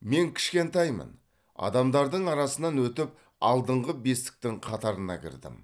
мен кішкентаймын адамдардың арасынан өтіп алдыңғы бестіктің қатарына кірдім